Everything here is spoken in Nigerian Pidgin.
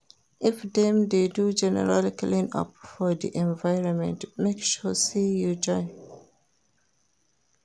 If dem de do general clean up for di environment make sure say you join